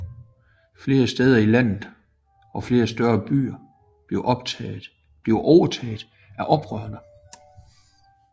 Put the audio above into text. Flere steder i landet og flere større byer blev overtaget af oprørerne